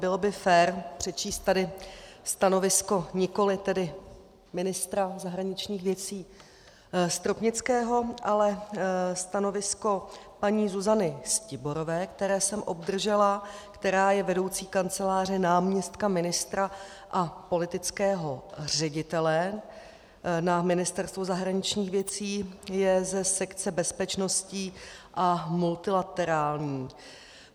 Bylo by fér přečíst tady stanovisko nikoli tedy ministra zahraničních věcí Stropnického, ale stanovisko paní Zuzany Stiborové, které jsem obdržela, která je vedoucí Kanceláře náměstka ministra a politického ředitele na Ministerstvu zahraničních věcí, je ze sekce bezpečností a multilaterální.